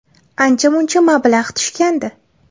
Ancha-muncha mablag‘ tushgandi.